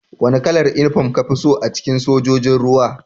Wane kalar uniform ka fi so a cikin Sojojin ruwa?